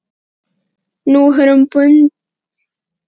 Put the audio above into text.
Nú er hún bundin kærasta og barni en